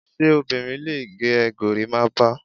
Ṣé obìnrin lè gẹ gorimapa?